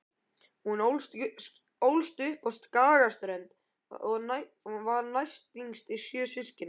Hún ólst upp á Skagaströnd og var næstyngst sjö systkina.